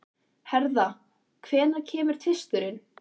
Hertha, hvenær kemur tvisturinn?